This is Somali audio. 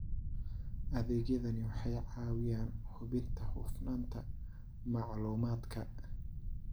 Adeegyadani waxay caawiyaan hubinta hufnaanta macluumaadka.